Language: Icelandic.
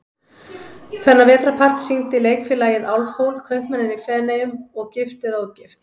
Þennan vetrarpart sýndi Leikfélagið Álfhól, Kaupmanninn í Feneyjum og Gift eða ógift?